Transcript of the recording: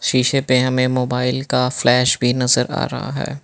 शीशे पे हमें मोबाइल का फ्लैश भी नजर आ रहा है।